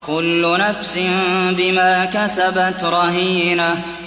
كُلُّ نَفْسٍ بِمَا كَسَبَتْ رَهِينَةٌ